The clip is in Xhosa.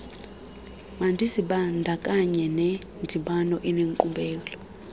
mandizibandakanye nendibano enenkqubela